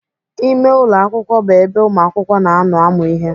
Ime ụlọ akwụkwọ bụ ebe ụmụakwụkwọ na-anọ amụ ihe.